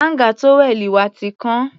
Áńgà tówẹ́ẹ̀nù wa ti kán.